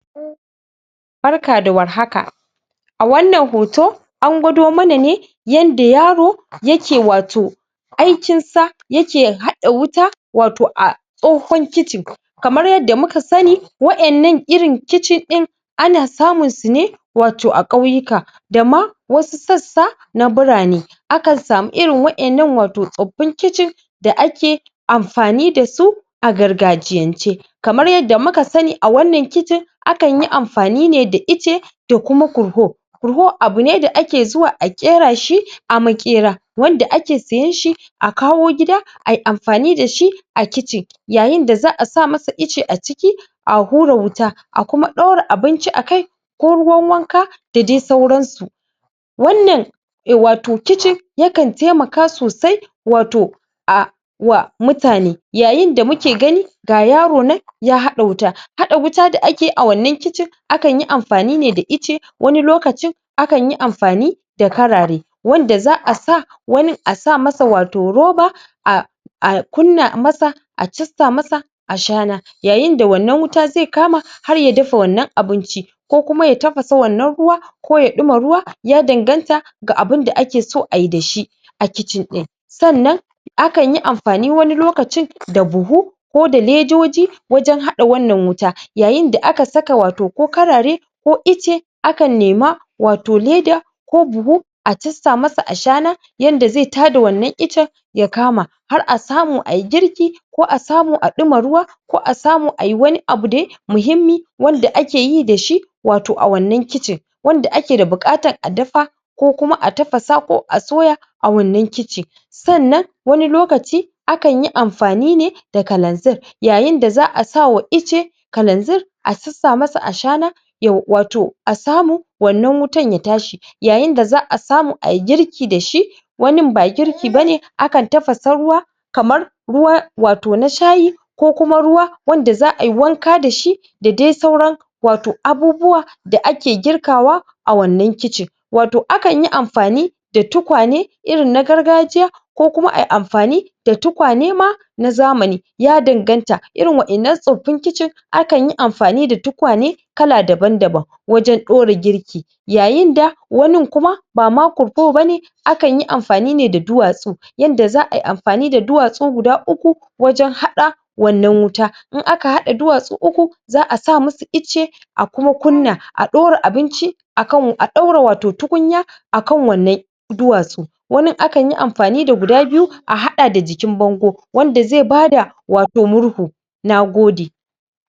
barka da warhaka a wannan hoto an gwado mana ne yadda yaro yake wato aikin sa yake haɗa wuta wato a tsohon kicin kamar yadda muka sani waɗannan irin kicin ɗin ana samu su ne wato a ƙauyika dama wasu sassa na birane akan sani irin waɗannan wato tsaffin kicin da ake amfani dasu a gargajiyan ce kamar yadda muka sani a wannan kici akan yi amfani ne da Ice da kuma kurhu Kurhu abun ne da ake zuwa a ƙera shi a maƙera wanda ake siyan shi a kawo gida ayi amfani dashi a kicin yayin da za'a sa masa Ice a ciki a hura wuta a kuma ɗura abinci akai ko ruwan wanka da dai sauransu wannan wato kicin yankan taimaka sosai wato a wa mutane yayin da muke gani ga yaro nan ya haɗa wuta da ake a wannan kicin akan yi amfani ne da Ice wani lokacin akan yi amfani da karare wanda za'a sa wani a sa masa wato roba a a kunna masa a jasta masa ashana yayin da wannan wuta zai kama har ya dafa wannan abinci kokuma ya tafasa wannan ruwa ko ya ɗuma ruwa ya danganta ga abinda ake so ayi dashi a kicin ɗin sannan akan yi amfani wani lokacin da buhu ko da ledoji wajan haɗa wannan wuta yayin da aka saka wato ko karare ko Ice akan nema wato leda ko buhu a jasta masa ashana yadda zai tada wannan Ice ya kama har a samu ayi girki ko a samo a ɗuma ruwa ko a samu ayi wani abu dai muhimmi wanda ake yi dashi wato a wannan kici wanda ake da buƙatar a dafa ko kuma a tafasa ko a soya a wannan kici sannan wani lokaci akan yi amfani ne kalanzir yayin da za'a sawa Ice kalanzir a jasta masa ashana yo wato samu wannan wutar ya tashi yayin da za'a samu ayi girki dashi wani ba girki bane akan tafasa ruwa kamar ruwa wato na shayi ko kuma ruwa wanda za'a yi wanka dashi da dai sauran wato abubuwa da ake girkawa a wannan kici wato akan yi amfani da tukwane irin na gargajiya ko kuma ayi amfani da tukwane ma na zmani ya danganta irin wa'yannan tsoffin kicin akan yi amfani da tukwane kala daban daban wajan ɗura girki yayin da wani kuma bama kurfo bane akan yi amfani ne da duwatsu yadda za'a yi amfani da duwatsu guda uku wajan haɗa wannan wuta in aka haɗa duwatsu uku za'a sa musu Ice a kuma kunna a ɗura abinci akan wu a ɗaura wato tukunya akan wannan duwatsu wanin akan yi amfani da guda biyu a haɗa da jikin bango wanda zai bada wato murhu nagode